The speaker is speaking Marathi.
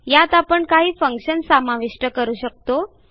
यात आपण काही फंक्शन्स समाविष्ट करू शकतो